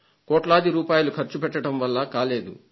కోట్లాది రూపాయలు ఖర్చు పెట్టడం వల్ల కాలేదు